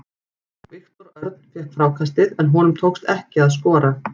Viktor Örn fékk frákastið en honum tókst ekki að skora.